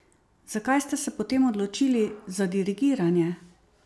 Zakaj ste se potem odločili za dirigiranje?